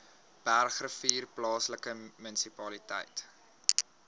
bergrivier plaaslike munisipaliteit